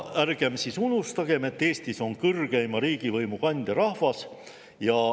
Ärgem siis unustagem, et Eestis on kõrgeima riigivõimu kandja rahvas.